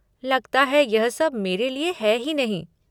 लगता है यह सब मेरे लिए है ही नहीं।